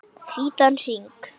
Hvítan hring.